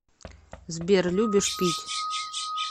сбер любишь пить